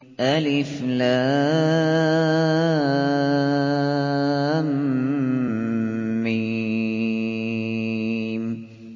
الم